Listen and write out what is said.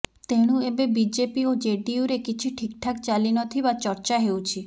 ତେଣୁ ଏବେ ବିଜେପି ଓ ଜେଡିୟୁରେ କିଛି ଠିକଠାକ୍ ଚାଲିନଥିବା ଚର୍ଚ୍ଚା ହେଉଛି